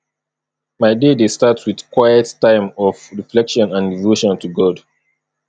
my day dey start with quiet time of reflection and devotion to god